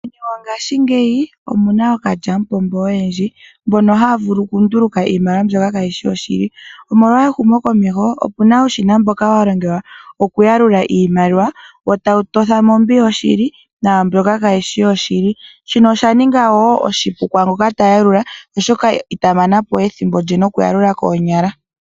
Mongashingeyi omuna ookalyamupombo oyendji mbono haya vulu okunduluka iimaliwa mbyoka kaayishi yoshili. Yimwe yomilongomwa yopashinanena oyo uushina wokuyalula iimaliwa nokutothamo mbyoka kayishi yoshili. Shika oshaninga oshipu komuyaluli molwaashoka ita kutha ethimbo olindji okuyalula komake na iimaliwa otayi yalulwa mondjila.